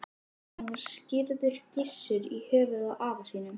Hann var skírður Gissur, í höfuðið á afa sínum.